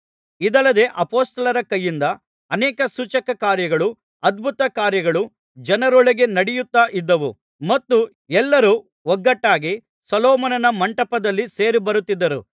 ಇದಲ್ಲದೆ ಅಪೊಸ್ತಲರ ಕೈಯಿಂದ ಅನೇಕ ಸೂಚಕಕಾರ್ಯಗಳೂ ಅದ್ಭುತಕಾರ್ಯಗಳೂ ಜನರೊಳಗೆ ನಡೆಯುತ್ತಾ ಇದ್ದವು ಮತ್ತು ಎಲ್ಲರು ಒಗ್ಗಟ್ಟಾಗಿ ಸೊಲೊಮೋನನ ಮಂಟಪದಲ್ಲಿ ಸೇರಿಬರುತ್ತಿದ್ದರು